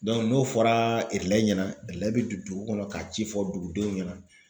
n'o fɔra ɲɛna bɛ don dugu kɔnɔ ka ci fɔ dugudenw ɲɛna.